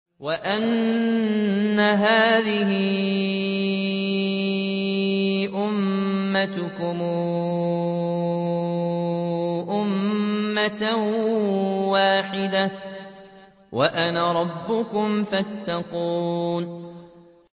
وَإِنَّ هَٰذِهِ أُمَّتُكُمْ أُمَّةً وَاحِدَةً وَأَنَا رَبُّكُمْ فَاتَّقُونِ